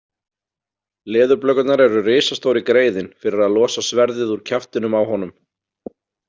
Leðurblökurnar eru risastóri greiðinn fyrir að losa sverðið úr kjaftinum á honum.